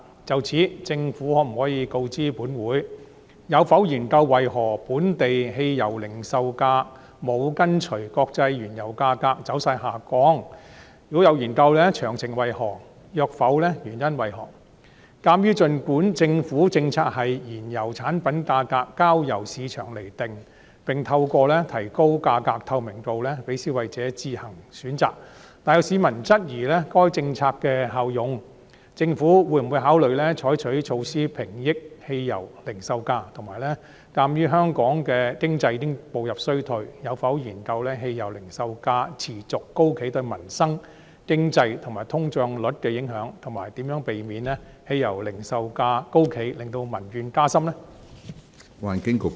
就此，政府可否告知本會：一有否研究為何本地汽油零售價沒有跟隨國際原油價格走勢下降；若有，詳情為何；若否，原因為何；二鑒於儘管政府政策是燃油產品價格交由市場釐定，並透過提高價格透明度讓消費者自行選擇，但有市民質疑該政策的效用，政府會否考慮採取措施平抑汽油零售價；及三鑒於香港經濟已步入衰退，有否研究汽油零售價持續高企對民生、經濟和通脹率的影響，以及如何避免汽油零售價高企令民怨加深？